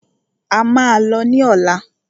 A máà lọ ní ọ̀lá.